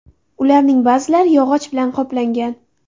Ularning ba’zilari yog‘och bilan qoplangan.